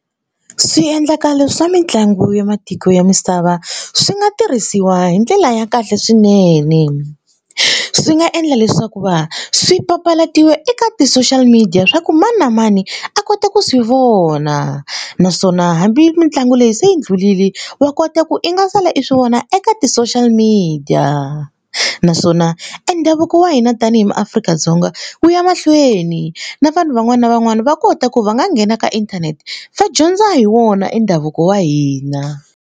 Swiendlakalo swa mitlangu ya matiko ya misava swi nga tirhisiwa hi ndlela ya kahle swinene. Swi nga endla leswaku va swi papalatiwa eka ti-social media swa ku mani na mani a kota ku swi vona naswona hambi mitlangu leyi se yi ndlhulile wa kota ku i nga sala i swi vona eka ti-social media naswona e ndhavuko wa hina tanihi maAfrika-Dzonga wu ya mahlweni na vanhu van'wana na van'wana va kota ku va nga nghena ka inthanete va dyondza hi wona e ndhavuko wa hina.